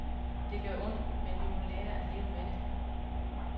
Det gør ondt, men vi må lære at leve med det.